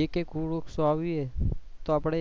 એક એક વૃક્ષ વાવીએ તો આપડે